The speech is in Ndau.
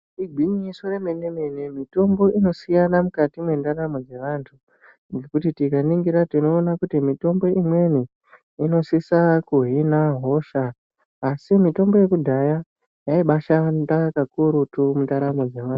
Igwinyiso remene-mene mitombo inosiyana mukati mwendaramo dzevantu, ngekuti tikaningira tinoona kuti mitombo imweni inosisa kuhina hosha asi mitombo yekudhaya, yaibashanda kakurutu mundaramo dzevantu.